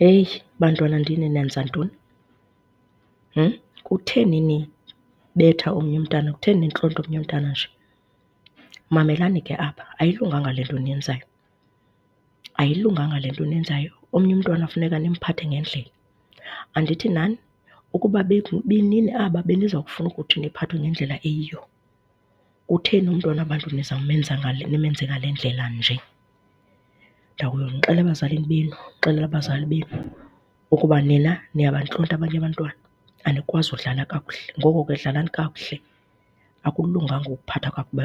Heyi, bantwanandini, nenza ntoni? . Kutheni nibetha omnye umntana, kutheni nintlonta omnye umntana nje? Mamelani ke apha, ayilunganga le nto eniyenzayo, ayilunganga le nto eniyenzayo. Omnye umntwana funeka nimphathe ngendlela. Andithi nani ukuba ibinini aba beniza kufuna ukuthi niphathwe ngendlela eyiyo. Kutheni umntwana wabantu nizawumenza ngale nimenze ngale ndlela nje? Ndiya kuyonixela ebazalini benu ndixelele abazali benu ukuba nina niyabantlonta abanye abantwana, anikwazi ukudlala kakuhle. Ngoko ke dlalani kakuhle, akulunganga ukuphatha kakubi